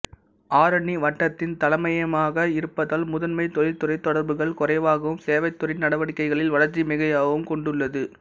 ஆரணி வட்டத்தின் தலைமையகமாக இருப்பதால் முதன்மைத் தொழிற்துறை தொடர்புகள் குறைவாகவும் சேவைத்துறை நடவடிக்கைகளில் வளர்ச்சி மிகையாகவும் கொண்டுள்ளது